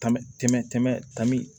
Tɔnm tɛmɛ tɔn